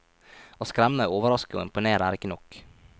Å skremme, overraske og imponere er ikke nok.